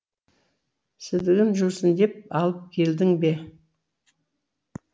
сідігін жусын деп алып келдің бе